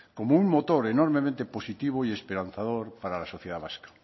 como un motor enormemente positivo y esperanzador para la sociedad vasca